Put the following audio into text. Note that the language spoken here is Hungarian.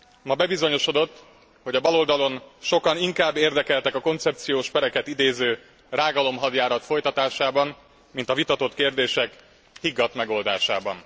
Ma bebizonyosodott, hogy a baloldalon sokan inkább érdekeltek a koncepciós pereket idéző rágalomhadjárat folytatásában, mint a vitatott kérdések higgadt megoldásában.